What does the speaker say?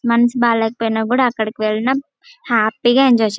మనసు బాగోకపోయిన కూడా అక్కడికి వెళ్లడం హ్యాపీ గా ఎంజాయ్ --